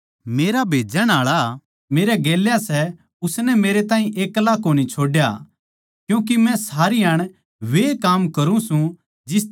मेरा भेजण आळा मेरै गेल्या सै उसनै मेरैताहीं एक्ला कोनी छोड्या क्यूँके मै सारी हाण वैए काम करूँ सूं जिसतै वो राज्जी होवै सै